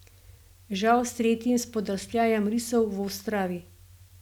Žal s tretjim spodrsljajem risov v Ostravi.